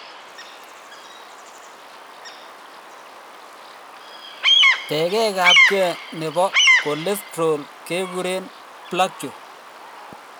Tegek abgei nebo cholesterol keguren plaque